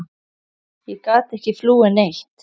Ég gat ekki flúið neitt.